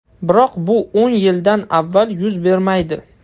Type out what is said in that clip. Biroq bu o‘n yildan avval yuz bermaydi.